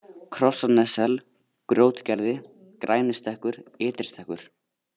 Krossanessel, Grjótgerði, Grænistekkur, Ytri-Stekkur